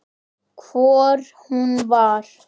Hvort hún var!